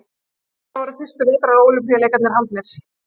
Hvar voru fyrstu vetrarólympíuleikarnir haldnir?